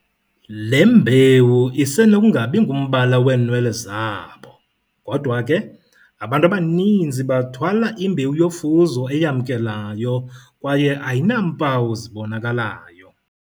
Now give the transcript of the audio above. Le mbewu isenokungabi ngumbala weenwele zabo, kodwa ke, abantu abaninzi bathwala imbewu yofuzo eyamkelayo kwaye ayinampawu zibonakalayo.